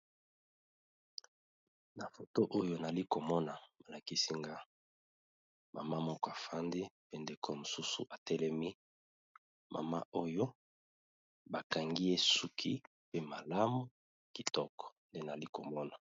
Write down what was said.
Na foto oyo nali komona malakisi nga mama moko afandi pe ndeko mosusu atelemi mama oyo bakangi esuki pe malamu kitoko nde nali komona.